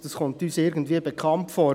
Das kommt uns irgendwie bekannt vor.